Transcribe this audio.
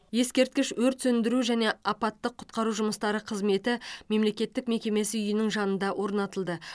ескерткіш өрт сөндіру және апаттық құтқару жұмыстары қызметі мемлекеттік мекемесі үйінің жанында орнатылды